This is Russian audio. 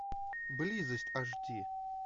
близость аш ди